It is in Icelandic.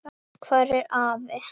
Hvar er afi?